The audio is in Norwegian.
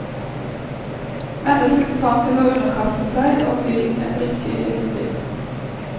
Menneskets trang til å underkaste seg og bli en brikke i et spill.